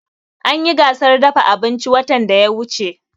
An yi gasar dafa abinci watan da ya wuce